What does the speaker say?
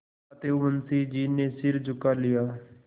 अतएव मुंशी जी ने सिर झुका लिया